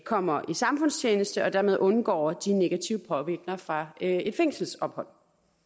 kommer i samfundstjeneste og dermed undgår de negative påvirkninger fra et fængselsophold